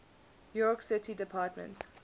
york city department